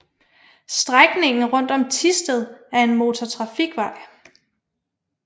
Strækningen rundt om Thisted er en motortrafikvej